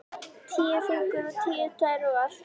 Tíu fingur og tíu tær og allt.